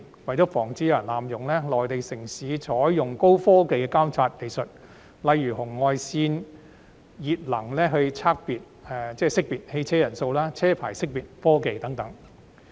為防止有人濫用，內地城市採用高科技的監察技術，例如紅外熱能技術識別乘車人數、車牌識別科技等。